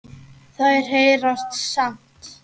Þær heyrast samt.